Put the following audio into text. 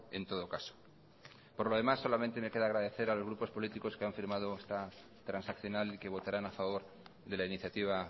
en todo caso por lo demás solamente me queda agradecer a los grupos políticos que han firmado esta transaccional y que votaran a favor de la iniciativa